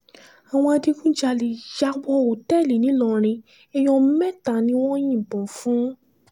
àwọn adigunjalè yà wọ òtẹ́ẹ̀lì ńìlọrin èèyàn mẹ́ta ni wọ́n yìnbọn fún